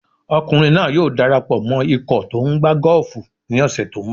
Ọkùnrin náà yóò dara pọ̀ mọ ikọ̀ tó tó ń gbá gọ́ọ̀fù ní ọ̀sẹ̀ tó ń bọ̀.